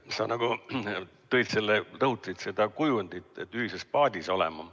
Sa nagu rõhutasid seda kujundit, et ollakse ühises paadis.